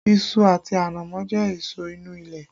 Iṣu àti ànámọ́ jẹ́ èso inú ilẹ̀